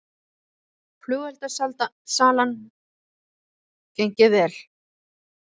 Flugeldasalan gengið vel